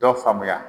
Dɔ faamuya